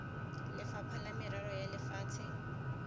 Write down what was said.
lefapha la merero ya lefatshe